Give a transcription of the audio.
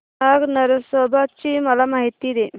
नाग नरसोबा ची मला माहिती दे